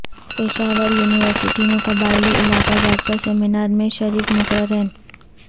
Peshawar university میں قبائلی علاقہ جات پر سیمینار میں شریک مقررین